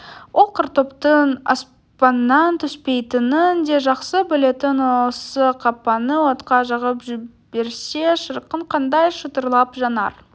ол картоптың аспаннан түспейтінін де жақсы білетін осы қақпаны отқа жағып жіберсе шіркін қандай шытырлап жанар